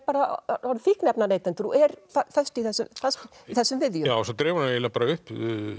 orðið fíkniefnaneytendur og er fast í þessum viðjum svo dregur hann eiginlega upp